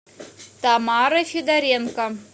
тамарой федоренко